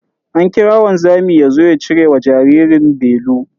An kira wanzamin yazo ya cire wa jaririn belu.